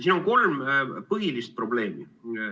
Siin on kolm põhilist probleemi.